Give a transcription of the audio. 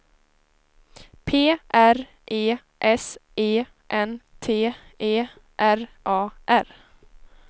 P R E S E N T E R A R